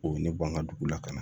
O ye ne ban ka dugu la ka na